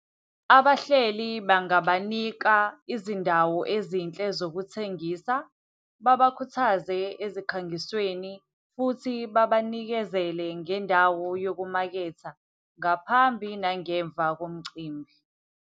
Abahleli bangabanika izindawo ezinhle zokuthengisa, babakhuthaze ezikhangisweni, futhi babanikezele ngendawo yokumaketha ngaphambi nangemva komcimbi.